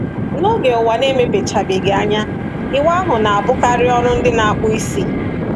N’oge Ụwa Na-emepechabeghị Anya, ịwa ahụ na-abụkarị ọrụ ndị na-akpụ isi.